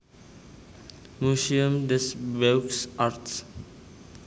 Muséum des Beaux Arts